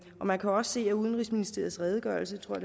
man kan også se i udenrigsministeriets redegørelse tror